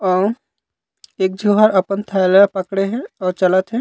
अऊ एक जो ह अपन थैला पकड़े हे अऊ चलत हे।